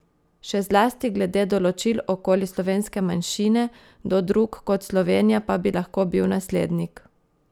Še zlasti glede določil okoli slovenske manjšine, kdo drug kot Slovenija pa bi lahko bil naslednik?